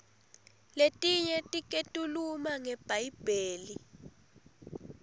letinye tiketuluma nge bhayibheli